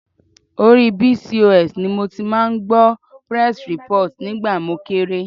Orí Bcos ni mo ti máa ń gbọ́ press report nígbà mo kéré.